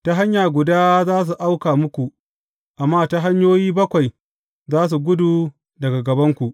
Ta hanya guda za su auka muku, amma ta hanyoyi bakwai za su gudu daga gabanku.